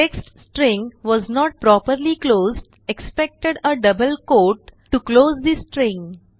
text string was not properly closed expected a double quote to close the string